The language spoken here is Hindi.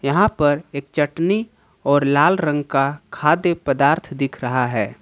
यहां पर एक चटनी और लाल रंग का खाद्य पदार्थ दिख रहा है।